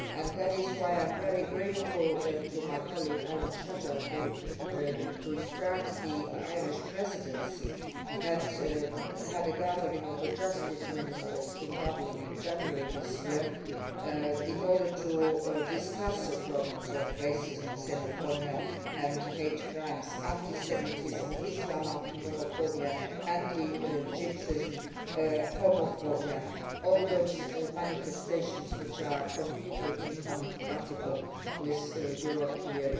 That is why I am very grateful to my colleague Alan Shatter who, to start the Irish Presidency, held a gathering of the Justice Ministers in Dublin in January this year in order to discuss the problems of racism, xenophobia and hate crimes, anti Semitism, Islamophobia, anti Gypsyism and homophobia all those manifestations which are completely incompatible with European